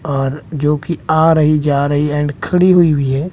और जोकि आ रही जा रही एंड खड़ी हुई भी है।